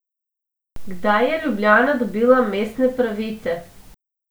Kdaj je Ljubljana dobila mestne pravice?